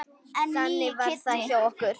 Þannig var það hjá okkur.